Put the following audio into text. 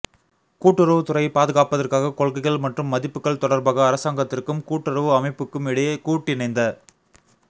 கூட்டுறவு துறையை பாதுகாப்பதற்காக கொள்கைகள் மற்றும் மதிப்புகள் தொடர்பாக அரசாங்கத்திற்கும் கூட்டுறவு அமைப்புக்கும் இடையே கூட்டிணைந்த